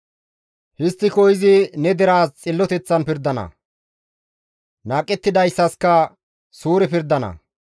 Histtiko izi ne deraas xilloteththan pirdana; naaqettidaytasikka suure pirdana.